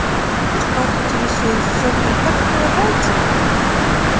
и что интересуюсь всё будет так как полагается